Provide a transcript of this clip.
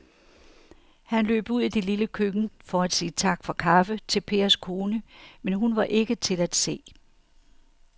Han løb ud i det lille køkken for at sige tak for kaffe til Pers kone, men hun var ikke til at se.